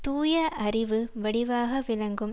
தூய அறிவு வடிவாக விளங்கும்